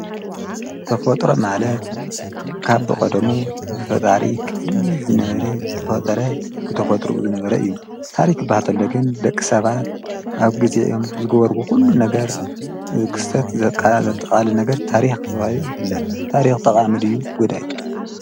ተፈጥሮ ማለት ካብ ብቐደሙ ብፈጣሪ ቅድሚት ዝነበረ ዝተፈጠረ ብተፈጥሮኡ ዝነበረ እዪ። ታሪኽ ክበሃል ተሎ ግን ደቂሰባት ኣብ ግዜኦም ዝገበርዎ ኩሉ ነገር ክስተት ዘጠቓልል ነገር ታሪክ ተባሂሉ ይፍለጥ። ታሪክ ጠቃሚ ድዩ ጎዳኢ ?